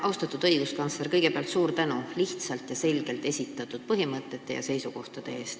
Austatud õiguskantsler, kõigepealt suur tänu lihtsalt ja selgelt esitatud põhimõtete ja seisukohtade eest!